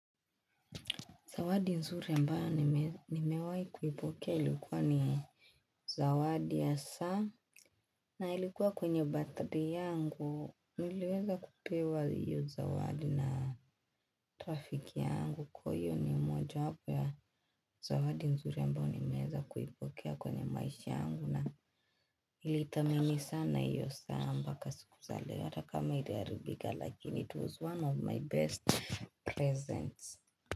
Zawadi nzuri ambayo nimewai kuipokea ilikuwa ni Zawadi ya saa na ilikuwa kwenye battery yangu Nileweza kupewa iyo zawadi na rafiki yangu kwa iyo ni moja wapo ya Zawadi nzuri ambayo nimeweza kuipokea kwenye maishi yangu na nilithamini sana iyo saa mpaka siku za leo hata kama iliharibika lakini it was one of my best presents.